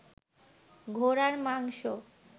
ঘোড়ার মাংস